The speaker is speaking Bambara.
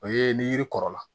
O ye ni yiri kɔrɔla